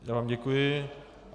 Já vám děkuji.